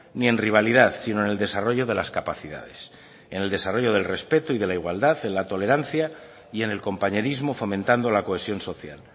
ni en rivalidad sino en el desarrollo de las capacidades en el desarrollo del respeto y de la igualdad en la tolerancia y en el compañerismo fomentando la cohesión social